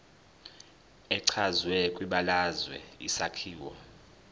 echazwe kwibalazwe isakhiwo